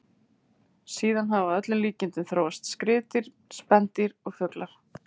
Síðan hafa að öllum líkindum þróast skriðdýr, spendýr og fuglar.